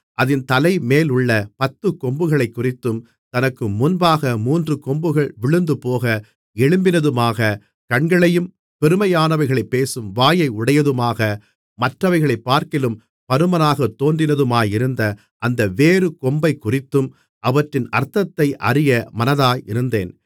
அதின் தலைமேலுள்ள பத்துக்கொம்புகளைக்குறித்தும் தனக்கு முன்பாக மூன்று கொம்புகள் விழுந்துபோக எழும்பினதுமாக கண்களையும் பெருமையானவைகளைப் பேசும் வாயை உடையதுமாக மற்றவைகளைப்பார்க்கிலும் பருமனாகத் தோன்றினதுமாயிருந்த அந்த வேறே கொம்பைக்குறித்தும் அவற்றின் அர்த்தத்தை அறிய மனதாயிருந்தேன்